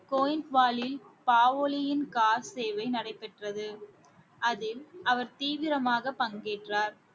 சேவை நடைபெற்றது அதில் அவர் தீவிரமாக பங்கேற்றார்